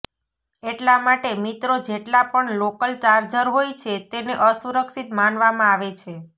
એટલા માટે મિત્રો જેટલા પણ લોકલ ચાર્જર હોય છે તેને અસુરક્ષિત માનવામાં આવે છે